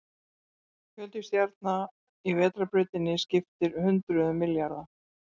Fjöldi stjarna í Vetrarbrautinni skiptir hundruðum milljarða.